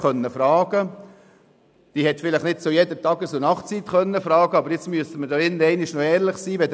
Sicher konnte sie nicht zu jeder Tages- und Nachtzeit fragen, aber jetzt müssen wir hier im Saal mal ehrlich sein: